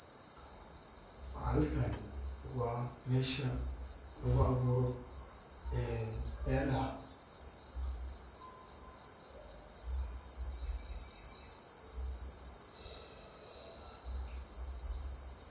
Halkani waa mesha laguabuuro beeraha.